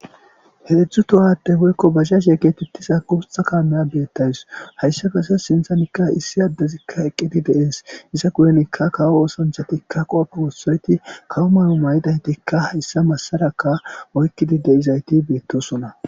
Heedzdzu tohade woykko baziash e geetittisa guutha kaamaya beettays hayssa kase sinthanikka issi addezikka eqqidi deees iza guyenikka kawo oosanchatikka qoofe wossoyeti kawo mayo maydaytikka hayssa massaraka oykkidi de'izayti beettosona.